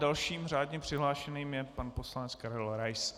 Dalším řádně přihlášeným je pan poslanec Karel Rais.